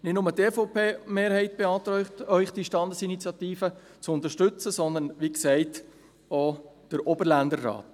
Nicht nur die EVP-Mehrheit beantragt Ihnen, diese Standesinitiative zu unterstützen, sondern, wie gesagt, auch der Oberländerrat.